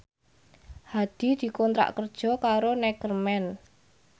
Hadi dikontrak kerja karo Neckerman